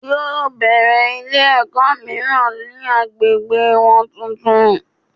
Yóò bèrè Ilé èkó míràn ni agbègbè won tuntun